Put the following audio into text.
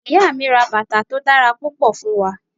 Iya mi ra batà to dara pupọ, fun wa.